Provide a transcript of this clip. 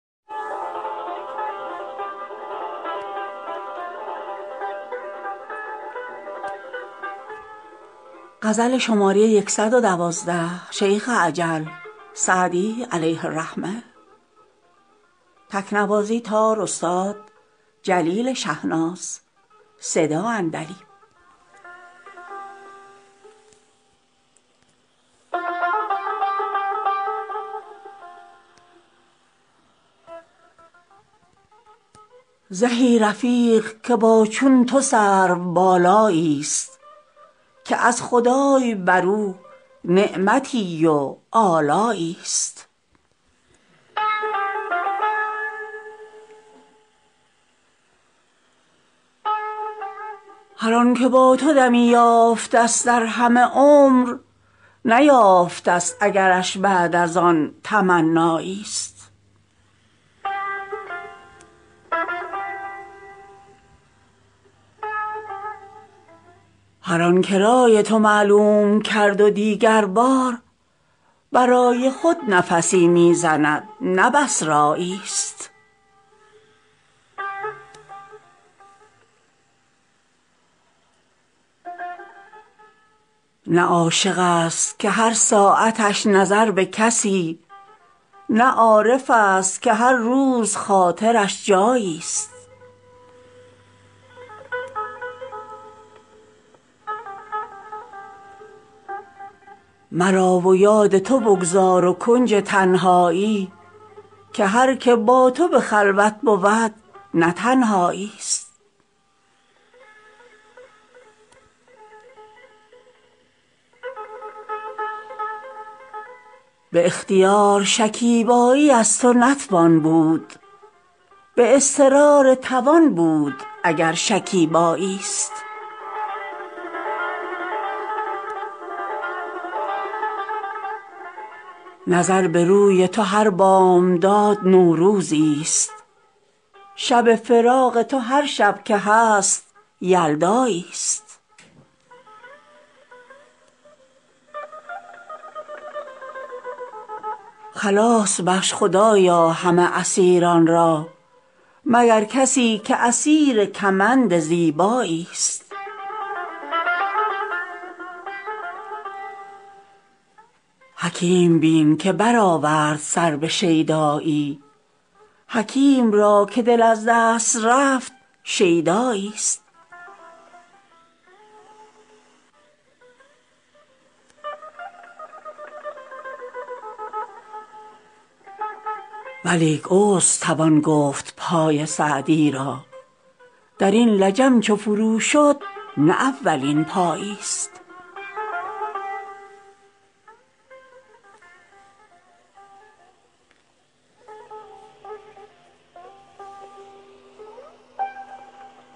زهی رفیق که با چون تو سروبالایی است که از خدای بر او نعمتی و آلایی است هر آن که با تو دمی یافته است در همه عمر نیافته است اگرش بعد از آن تمنایی است هر آن که رای تو معلوم کرد و دیگر بار برای خود نفسی می زند نه بس رایی است نه عاشق است که هر ساعتش نظر به کسی نه عارف است که هر روز خاطرش جایی است مرا و یاد تو بگذار و کنج تنهایی که هر که با تو به خلوت بود نه تنهایی است به اختیار شکیبایی از تو نتوان بود به اضطرار توان بود اگر شکیبایی است نظر به روی تو هر بامداد نوروزی است شب فراق تو هر شب که هست یلدایی است خلاص بخش خدایا همه اسیران را مگر کسی که اسیر کمند زیبایی است حکیم بین که برآورد سر به شیدایی حکیم را که دل از دست رفت شیدایی است ولیک عذر توان گفت پای سعدی را در این لجم چو فرو شد نه اولین پایی است